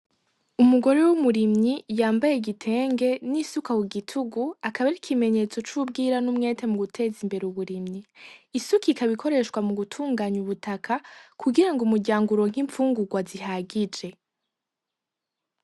Umugore w'umurimyi yambaye igitenge n'isuka ku gitugu, akaba ari ikimenyetso c'ubwira n'umwete mu guteza imbere uburimyi. Isuka ikaba ikoreshwa mu gutunganya ubutaka kugira ngo umuryango uronke imfungurwa zihagije.